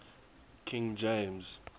king james